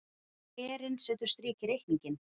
Herinn setur strik í reikninginn